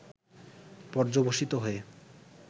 পর্যবসিত হয়ে